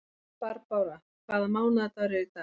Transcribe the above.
Barbára, hvaða mánaðardagur er í dag?